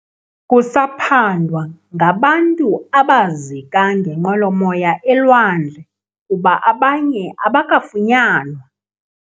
Kusaphandwa ngabantu abazika ngenqwelomoya elwandle kuba abanye abakafunyanwa.